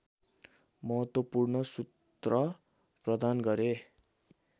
महत्त्वपूर्ण सूत्र प्रदान गरे